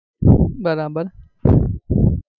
બરાબર